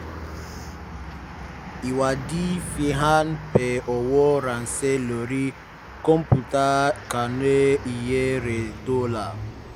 ìwádìí fi hàn pé owó ránṣẹ́ lórí kọ̀ǹpútà kùnà iye rẹ̀ tó dọ́là